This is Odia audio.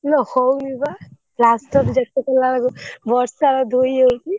ଇଲୋ ହଉନି ବା plaster ଯେତେ କଲାବେଳକୁ ବର୍ଷା ରେ ଧୋଇ ହେଇଯାଉଛି।